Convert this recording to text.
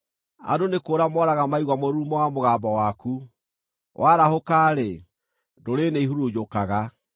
Andũ nĩ kũũra mooraga maigua mũrurumo wa mũgambo waku; warahũka-rĩ, ndũrĩrĩ nĩihurunjũkaga.